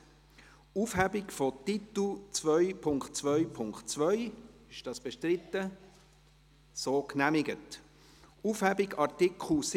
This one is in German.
Der Buchstabe d ist jetzt zum Buchstaben c geworden – damit alles ganz klar ist.